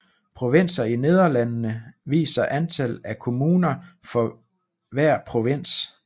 Provinser i Nederlandene viser antal af kommuner for hver provins